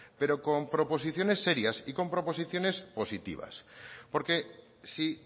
pero con proposiciones serias y con proposiciones positivas porque si